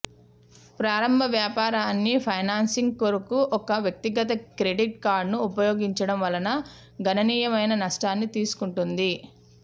ప్రారంభ వ్యాపారాన్ని ఫైనాన్సింగ్ కొరకు ఒక వ్యక్తిగత క్రెడిట్ కార్డును ఉపయోగించడం వలన గణనీయమైన నష్టాన్ని తీసుకుంటుంది